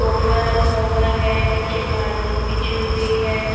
Sofa रखा हुआ है। नीचे कालीन बीच हुई है।